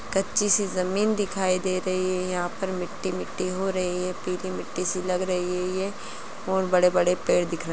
कच्ची से जमीन दिखाई दे रही है। यहां पर मिट्टी-मिट्टी हो रही है पीली मिट्टी सी लग रही है ये और बड़े-बड़े पेड़ दिख रहे --